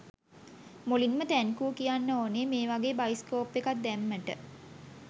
මුලින්ම තැන්කූ කියන්න ඕනේ මේවගේ බයිස්කොප් එකක් දැම්මට.